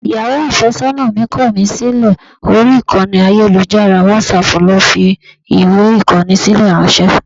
Ìyàwó àfẹ́sọ́nà mi kọ̀ mí sílẹ̀, orí ìkànnì ayélujára WhatsApp ló fi fi ìwé Ìkọ́ni sílẹ̀ ráńṣẹ́.